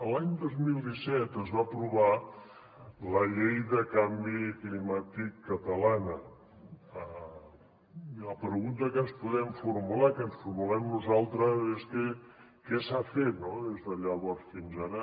l’any dos mil set es va aprovar la llei de canvi climàtic catalana i la pregunta que ens podem formular que ens formulem nosaltres és què s’ha fet no des de llavors fins ara